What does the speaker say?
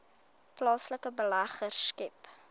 plaaslike beleggers skep